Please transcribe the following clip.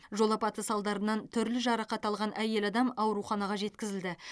жол апаты салдарынан түрлі жарақат алған әйел адам ауруханаға жеткізілді